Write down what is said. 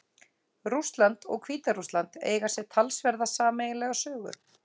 Rússland og Hvíta-Rússland eiga sér talsverða sameiginlega sögu.